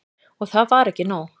Og það var ekki nóg.